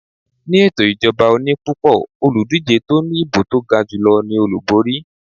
Ni ẹto ìjọba oní pupo, Olùdíje tó ní ìbò to gajulo ní Olúborí